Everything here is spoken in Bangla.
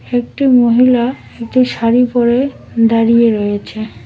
একটি মহিলা একটি শাড়ি পরে দাঁড়িয়ে রয়েছে।